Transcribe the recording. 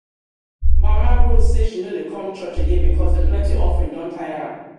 mama rose say she no dey come church again because the plenty offering don tire am